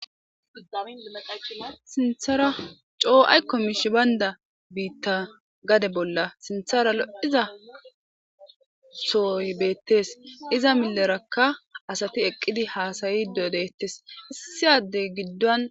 Sinththera coo aykko mishshey bayndda gadde bolla lo'iiza sohoy bettes iiza millerakka asati eqqidi hasa'she dettes.